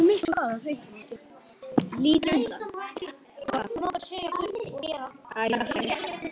Ég lít undan.